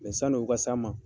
sani u ka s'an ma.